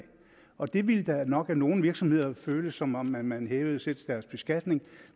og det ville da nok af nogle virksomheder føles som om man man hævede selskabsbeskatningen